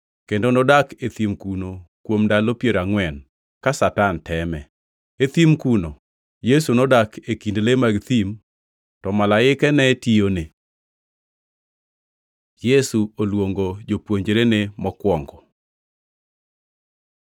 kendo nodak e thim kuno kuom ndalo piero angʼwen, ka Satan teme. E thim kuno Yesu nodak e kind le mag thim, to malaike ne tiyone. Yesu oluongo jopuonjrene mokwongo